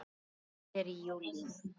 Lokað er í júlí.